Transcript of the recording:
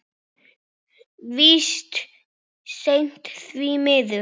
Víst seint, því miður.